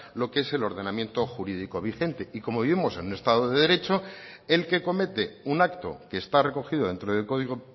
lo que es el ordenamiento jurídico vigente y como vivimos en un estado de derecho el que comete un acto que está recogido dentro del código